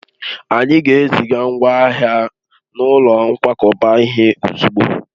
Anyị ga-eziga ngwa ahịa n'ụlọ nkwakọba ihe ozugbo